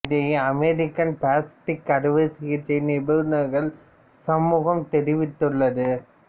இதனை American plastic அறுவை சிகிச்சை நிபுணர்கள் சமூகம் தெரிவித்துள்ளது